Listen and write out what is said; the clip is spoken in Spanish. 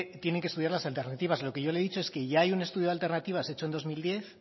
tienen que estudiar las alternativas lo que yo le he dicho es que ya hay un estudio de alternativa hecho en dos mil diez